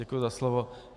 Děkuji za slovo.